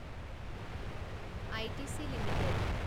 ITC limited